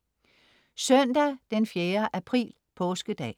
Søndag den 4. april Påskedag